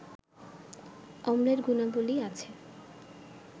অম্লের গুণাবলি আছে